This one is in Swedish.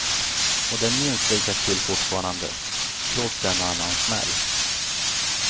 Och det är minst lika kul fortfarande, trots en och annan smäll.